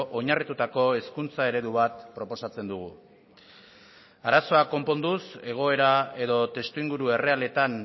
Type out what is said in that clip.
oinarritutako hezkuntza eredu bat proposatzen dugu arazoa konponduz egoera edo testuinguru errealetan